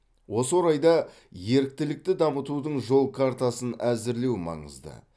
осы орайда еріктілікті дамытудың жол картасын әзірлеу маңызды